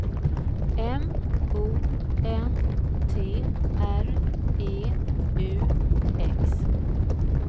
M O N T R E U X